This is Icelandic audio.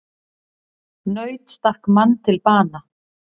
Naut stakk mann til bana